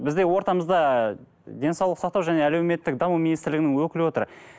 бізде ортамызда денсаулық сақтау және әлеуметтік даму министрлігінің өкілі отыр